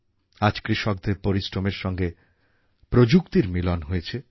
আজ কৃষকদের পরিশ্রমের সঙ্গে প্রযুক্তির মিলন হয়েছে